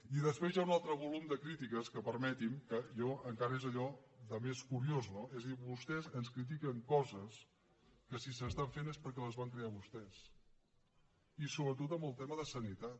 i després hi ha un altre volum de crítiques que permeti m’ho encara és allò de més curiós no és a dir vostès ens critiquen coses que si s’estan fent és perquè les van crear vostès i sobretot en el tema de sanitat